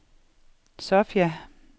Sofia